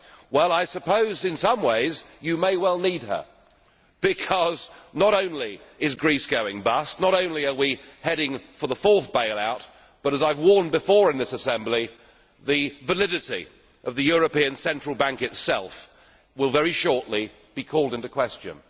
Well, I suppose in some ways, you may well need Mrs Lagarde because not only is Greece going bust, not only are we heading for the fourth bail out, but as I have warned before in this Assembly, the validity of the European Central Bank itself will very shortly be called into question.